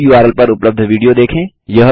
इस उर्ल पर उपलब्ध विडियो देखें